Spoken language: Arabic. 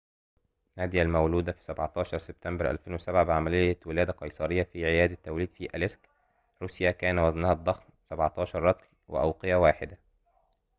نادية المولودة في 17 سبتمبر 2007 بعمليّة ولادة قيصريّة في عيادة توليد في أليسك روسيا كان وزنها الضخم 17 رطل وأوقية واحدة